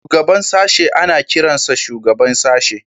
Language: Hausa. Shugaban sashen ana kiransa Shugaban Sashe